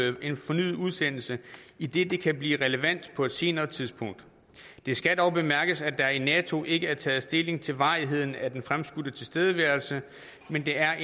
en fornyet udsendelse idet det kan blive relevant på et senere tidspunkt det skal dog bemærkes at der i nato ikke er taget stilling til varigheden af den fremskudte tilstedeværelse men der er